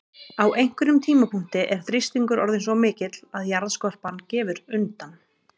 Á einhverjum tímapunkti er þrýstingur orðinn svo mikill að jarðskorpan gefur undan.